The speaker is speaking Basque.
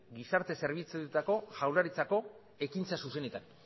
gizarte zerbitzuetako jaurlaritzako ekintza zuzenetara